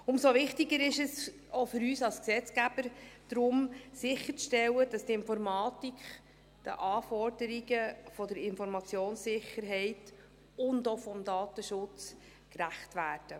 Umso wichtiger ist es daher – auch für uns als Gesetzgeber –, sicherzustellen, dass die Informatik den Anforderungen der Informationssicherheit und auch des Datenschutzes gerecht wird.